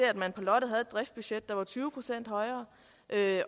at man på lotte havde et driftsbudget der var tyve procent højere